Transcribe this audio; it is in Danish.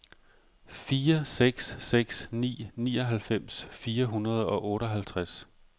fire seks seks ni nioghalvfems fire hundrede og otteoghalvtreds